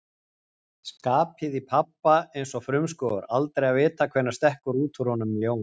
Skapið í pabba eins og frumskógur, aldrei að vita hvenær stekkur út úr honum ljón.